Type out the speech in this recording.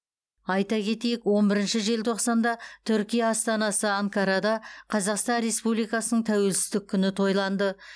айта кетейік он бірінші желтоқсанда түркия астанасы анкарада қазақстан республикасының тәуелсіздік күні тойланды